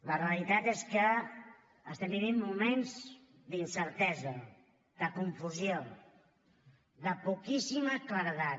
la realitat és que estem vivint moments d’incertesa de confusió de poquíssima claredat